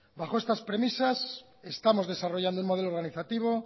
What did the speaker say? bajo estas premisas estamos desarrollando un modelo organizativo